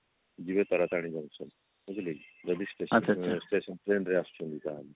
ଯିବ ତାରାତାରିଣୀ junction ବୁଝିଲେ କି ଯାଇଦ station station train ରେ ଆସିଛନ୍ତି ତାହେଲେ